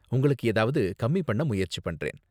உங்களுக்கு ஏதாவது கம்மி பண்ண முயற்சி பண்றேன்.